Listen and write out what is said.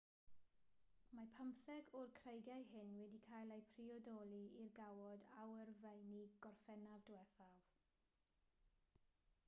mae pymtheg o'r creigiau hyn wedi cael eu priodoli i'r gawod awyrfeini gorffennaf diwethaf